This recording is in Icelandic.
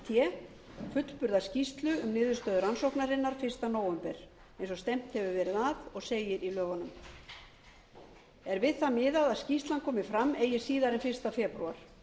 té fullburða skýrslu um niðurstöðu rannsóknarinnar fyrsta nóvember eins og stefnt hefur verið að og segir í lögunum er við það miðað að skýrslan komi fram eigi síðar en fyrsta febrúar